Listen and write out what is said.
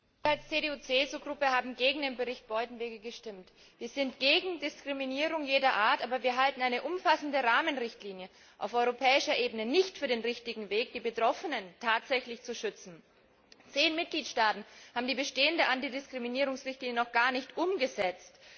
Herr Präsident! Wir, die CDU CSU Fraktion, haben gegen den Bericht Buitenweg gestimmt. Wir sind gegen Diskriminierung jeder Art, aber wir halten eine umfassende Rahmenrichtlinie auf europäischer Ebene nicht für den richtigen Weg, die Betroffenen tatsächlich zu schützen. Zehn Mitgliedstaaten haben die bestehende Antidiskriminierungsrichtlinie noch gar nicht umgesetzt.